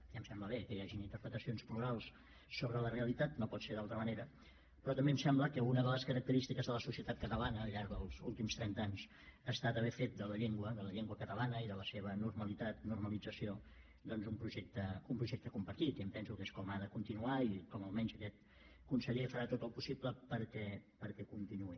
ja em sembla bé que hi hagin interpretacions plurals sobre la realitat no pot ser d’altra manera però també em sembla que una de les característiques de la societat catalana al llarg dels últims trenta anys ha estat haver fet de la llengua de la llengua catalana i de la seva normalitat normalització un projecte compartit i em penso que és com ha de continuar i com almenys aquest conseller farà tot el possible perquè continuï